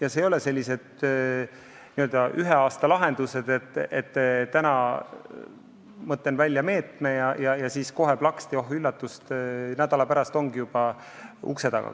Ja need ei ole sellised n-ö ühe aasta lahendused, et täna mõtlen välja meetme ja siis kohe plaksti, oh üllatust, nädala pärast ongi juba investorid ukse taga.